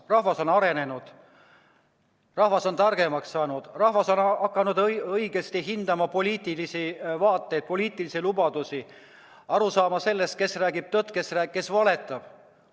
Rahvas on arenenud, rahvas on targemaks saanud, rahvas on hakanud õigesti hindama poliitilisi vaateid, poliitilisi lubadusi, on hakanud aru saama sellest, kes räägib tõtt, kes valetab.